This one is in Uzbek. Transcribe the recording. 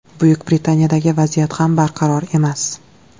Buyuk Britaniyadagi vaziyat ham barqaror emas.